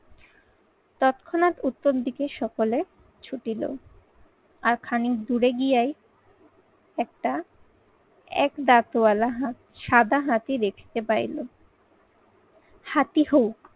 তৎক্ষণাৎ উত্তর দিকে সকলে ছুটিলো। আর খানিক দূরে গিয়েই একটা এক দাঁতওয়ালা হাত~ সাদা হাতি দেখতে পাইল। হাতি হোক